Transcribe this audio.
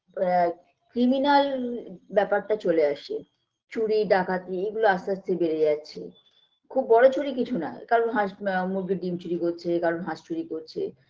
আ criminal ব্যাপারটা চলে আসে চুরি ডাকাতি এগুলো আস্তে আস্তে বেড়ে যাচ্ছে খুব বড়ো চুরি কিছু না কারোর হাঁস মা মুরগির ডিম চুরি করছে কারোর হাঁস চুরি করছে